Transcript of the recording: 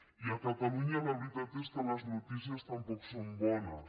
i a catalunya la veritat és que les notícies tampoc són bones